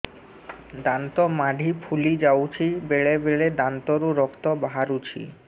ଦାନ୍ତ ମାଢ଼ି ଫୁଲି ଯାଉଛି ବେଳେବେଳେ ଦାନ୍ତରୁ ରକ୍ତ ବାହାରୁଛି